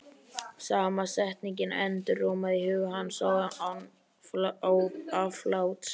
Sama setningin endurómaði í huga hans án afláts.